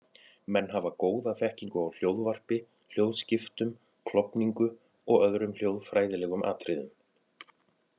Menn hafa góða þekkingu á hljóðvarpi, hljóðskiptum, klofningu og öðrum hljóðfræðilegum atriðum.